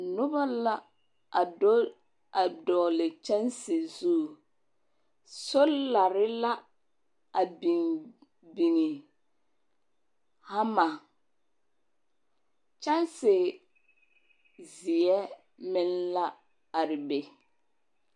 Noba la a do a dɔɔle kyɛnse zu. Solare la a biŋ biŋi. Hama. Kyansezeɛ meŋ la are be.